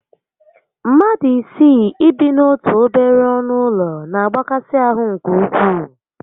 Mmadụ isii ị bi n'otu obere ọnụ ụlọ na agbakasi ahụ nke ukwuu